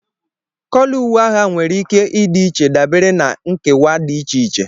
kóló uwe agha nwere ike ịdị iche dabere na nkewa dị iche iche